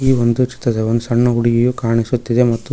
ಈ ಒಂದು ಚಿತ್ರದಲ್ಲಿ ಒಂದ್ ಸಣ್ಣ ಹುಡುಗಿಯು ಕಾಣಿಸುತ್ತಿದೆ ಮತ್ತು--